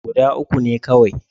Guda uku ne kawai.